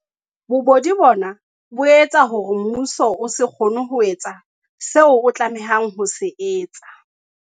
Bobodu bona bo etsa hore mmuso o se kgone ho etsa seo o tlameha ho se etsa.